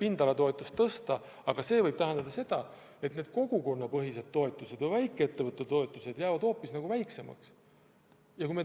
pindalatoetust tõsta, aga sel juhul võivad need kogukonnapõhised toetused või väikeettevõtluse toetused hoopis väiksemaks jääda.